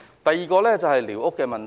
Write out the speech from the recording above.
第二，是寮屋問題。